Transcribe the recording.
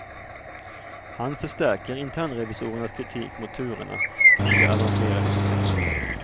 Han förstärker internrevisorernas kritik mot turerna kring det avancerade systemet.